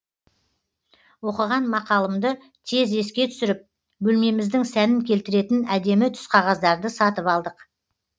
оқыған мақалымды тез еске түсіріп бөлмеміздің сәнін келтіретін әдемі түсқағаздарды сатып алдық